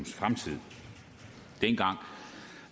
fremtid dengang